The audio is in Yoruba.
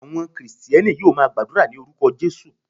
Àwọn Kristẹni yóò máa gbàdúrà ní orúkọ Jesus.